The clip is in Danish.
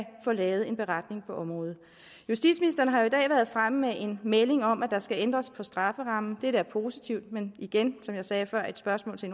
få lavet en beretning på området justitsministeren har jo i dag været fremme med en melding om at der skal ændres på strafferammen dette er positivt men igen som jeg sagde før i et spørgsmål til